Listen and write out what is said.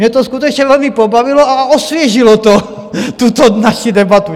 Mě to skutečně velmi pobavilo a osvěžilo to tuto naši debatu.